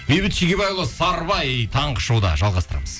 бейбіт шегебайұлы сарыбай таңғы шоуда жалғастырамыз